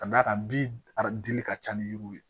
Ka d'a kan bin a dili ka ca ni yiriw ye